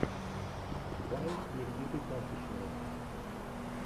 вайн никиты пасичного